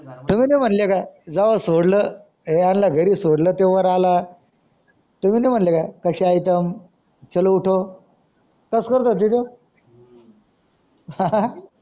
तुम्ही नाही मनले का जाव सोडल यांना घरी सोडल तेवहार आला तुम्ही नाही मानल का कसे आयटम चलो उठो कस करत होती ते हा हा